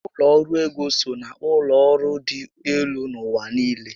Ụlọ ọrụ ego so na ụlọ ọrụ dị élú n'ụwa niile